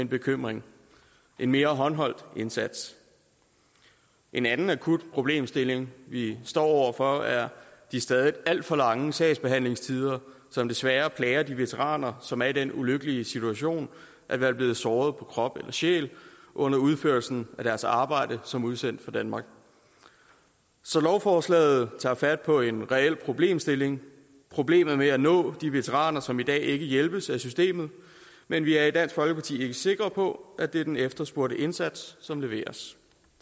bekymrede en mere håndholdt indsats en anden akut problemstilling vi står over for er de stadig alt for lange sagsbehandlingstider som desværre plager de veteraner som er i den ulykkelige situation at være blevet såret på krop eller sjæl under udførelsen af deres arbejde som udsendt for danmark så lovforslaget tager fat på en reel problemstilling problemet med at nå de veteraner som i dag ikke hjælpes af systemet men vi er i dansk folkeparti ikke sikker på at det er den efterspurgte indsats som leveres